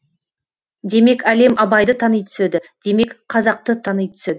демек әлем абайды тани түседі демек қазақты тани түседі